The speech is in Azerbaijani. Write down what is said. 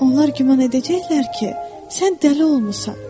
Onlar güman edəcəklər ki, sən dəli olmusan.